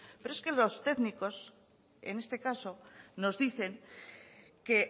pero es que los técnicos en este caso nos dicen que